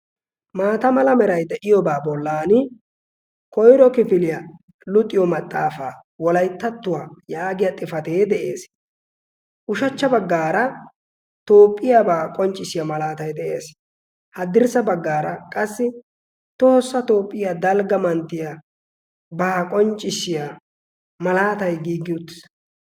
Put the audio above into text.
maata mala merai de7iyoobaa bollan koiro kifiliyaa luxiyo maxaafaa wolaittattuwaa yaagiya xifatee de7ees. ushachcha baggaara toopphiyaabaa qonccissiyaa malaatai de7ees. haddirssa baggaara qassi tohossa toopphiyaa dalgga manttiya baa qonccissiya malaatai giiggi utis.